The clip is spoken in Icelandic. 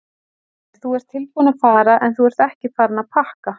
Sólveig: Þú ert tilbúinn að fara en þú ert ekki farinn að pakka?